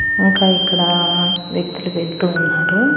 ఇంకా ఇక్కడ వ్యక్తులు వెలుతు ఉన్నారు.